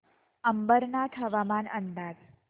अंबरनाथ हवामान अंदाज